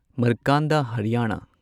ꯃꯔꯀꯥꯟꯗꯥ ꯍꯔꯤꯌꯥꯅꯥ